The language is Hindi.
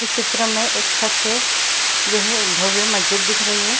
इस चित्र में एक छत से जो है भव्य मस्जिद दिख रही है।